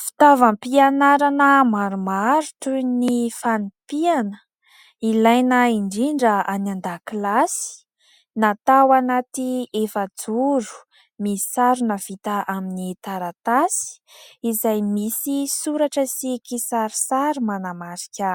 Fitaovam-pianarana maromaro toy ny fanipihana, ilaina indrindra any an-dakilasy, natao anaty efa-joro, misarona vita amin'ny taratasy izay misy soratra sy kisarisary manamarika